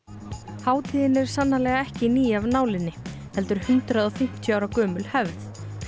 hátíðin er sannarlega ekki ný af nálinni heldur hundrað og fimmtíu ára gömul hefð